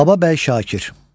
Baba bəy Şakir.